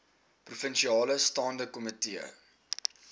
provinsiale staande komitee